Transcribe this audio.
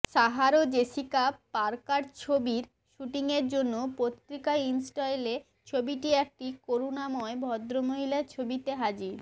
Sarah Jessica Parker ছবির শুটিংয়ের জন্য পত্রিকা ইনস্টেইলে ছবিটি একটি করুণাময় ভদ্রমহিলার ছবিতে হাজির